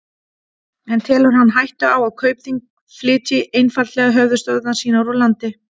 En telur hann hættu á að Kaupþing flytji einfaldlega höfuðstöðvar sínar úr landi?